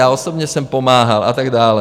Já osobně jsem pomáhal, a tak dále.